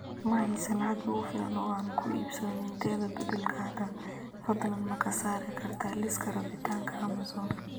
Ma haysto lacag igu filan oo aan ku iibsado nintendo beddelka hadda, fadlan ma ka saari kartaa liiska rabitaanka amazon